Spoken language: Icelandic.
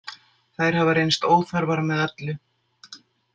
Þær hafa reynst óþarfar með öllu.